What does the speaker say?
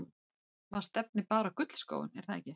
Maður stefnir bara á gullskóinn er það ekki?